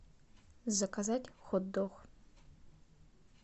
заказать хот дог